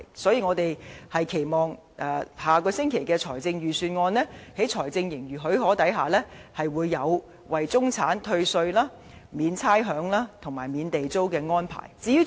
所以，我們期望下星期的財政預算案，在財政盈餘許可下，會提出為中產退稅、免差餉，以及免地租的安排。